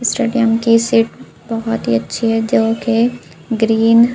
stadium की seat बहोत ही अच्छी है जोकि ग्रीन --